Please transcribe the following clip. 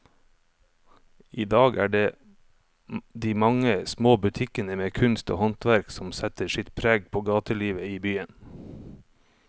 I dag er det de mange små butikkene med kunst og håndverk som setter sitt preg på gatelivet i byen.